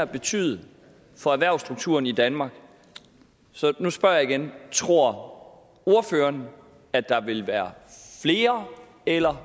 betyde for erhvervsstrukturen i danmark så nu spørger jeg igen tror ordføreren at der vil være flere eller